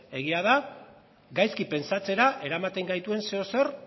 egia da gaizki pentsatzera eramaten gaituen zeozer